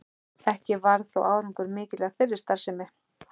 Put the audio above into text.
Ekki varð þó árangur mikill af þeirri starfsemi.